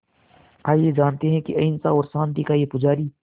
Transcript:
आइए जानते हैं कि अहिंसा और शांति का ये पुजारी